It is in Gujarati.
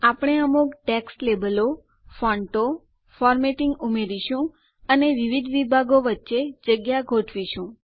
આપણે અમુક ટેક્સ્ટ લેબલો ફોન્ટો ફોર્મેટિંગ બંધારણ ઉમેરીશું અને વિવિધ વિભાગો વચ્ચે જગ્યા ગોઠવીશું